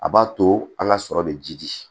A b'a to an ka sɔrɔ bɛ jidi